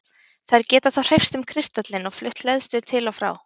Þær geta þá hreyfst um kristallinn og flutt hleðslu til og frá.